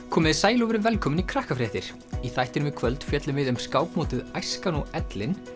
komiði sæl og verið velkomin í í þættinum í kvöld fjöllum við um skákmótið æskan og ellin